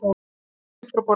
Hún rís upp frá borðinu.